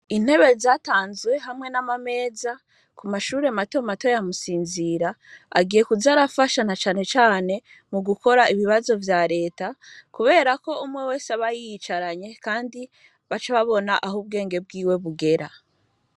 Intebe zatanzwe hamwe n'amameza ku mashure mato mato yamusinzira agiye kuzarafashana canecane mu gukora ibibazo vya leta, kubera ko umwe wese abayiyicaranye, kandi baca ababona aho ubwenge bwiwe bugera.